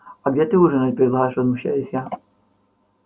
а где ты ужинать предлагаешь возмущаюсь я